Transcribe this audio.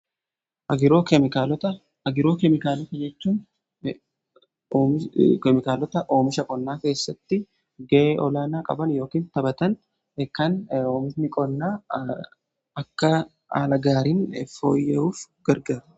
Agrochemicals jechun keemikaalota oomisha qonnaa keessatti ga'ee olaanaa qaban yookin taphatan kan omishni qonnaa akka haala gaariin fooyya'uuf gargarudha.